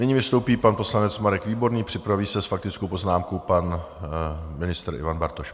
Nyní vystoupí pan poslanec Marek Výborný, připraví se s faktickou poznámkou pan ministr Ivan Bartoš.